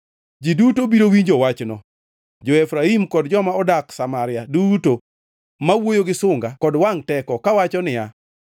Ji duto biro winjo wachno jo-Efraim kod joma odak Samaria duto, ma wuoyo gi sunga kod wangʼ teko kawacho niya,